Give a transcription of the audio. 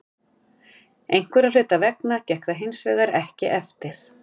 Einhverra hluta vegna gekk það hinsvegar ekki eftir.